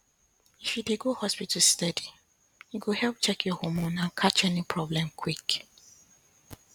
if you dey go hospital steady e go help check your hormone and catch any problem quick